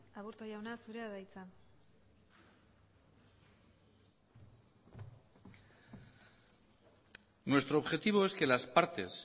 aburto jauna zurea da hitza nuestro objetivo es que las partes